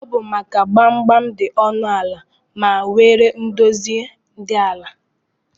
Ọbụ maka na gbamgbam di ọnụ ala ma nwee ndozi di ala.